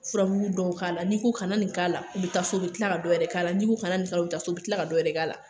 Furamugu dɔw k'a la n'i ko kana nin k'a la u bɛ taa so u bɛ tila ka dɔ yɛrɛ k'a la n'i ko kana nin fana u bɛ taa so u bɛ tila ka dɔ wɛrɛ k'a la